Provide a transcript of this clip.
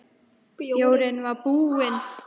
Bjórinn var búinn.